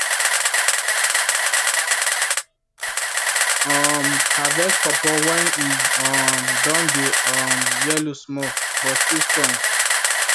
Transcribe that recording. um harvest pawpaw when e um don dey um yellow small but still strong